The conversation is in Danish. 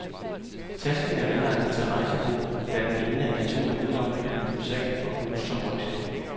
Tasken er velegnet til rejsebrug, da den ene af de to endelommer kan lynes af og bruges som rygsæk.